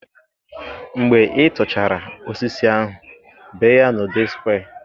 Mgbe ị tụchara osisi ahu, bee ya n'ụdị square.